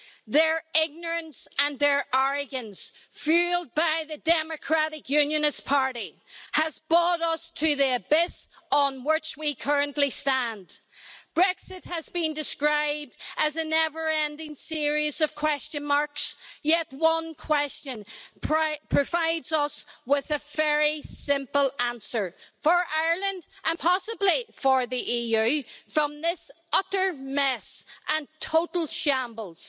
Their ignorance and arrogance, fuelled by the Democratic Unionist Party, has brought us to the abyss on which we currently stand. Brexit has been described as a never-ending series of question marks, yet one question provides us with a very simple answer, for Ireland and possibly for the EU, from this utter mess and total shambles.